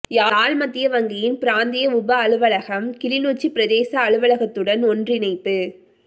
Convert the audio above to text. யாழ் மத்திய வங்கியின் பிராந்திய உப அலுவலகம் கிளிநொச்சி பிரதேச அலுவலகத்துடன் ஒன்றிணைப்பு